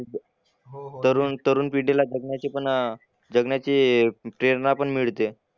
तरुण तरुण पिढीला जगण्याची पण अह जगण्याची प्रेरणा पण मिळते.